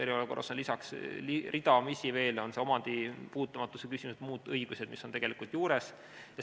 Eriolukorras on lisaks ridamisi veel, on see omandi puutumatuse küsimus või muud õigused, mis on juures.